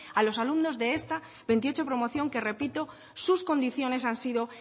a los alumnos de esta veintiocho promoción que repito que sus condiciones han sido